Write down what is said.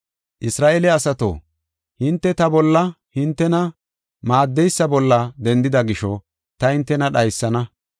“Isra7eele asato, hinte ta bolla, hintena maaddeysa bolla dendida gisho ta hintena dhaysana.